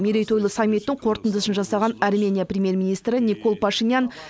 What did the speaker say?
мерейтойлы саммиттің қорытындысын жасаған армения премьер министрі никол пашинян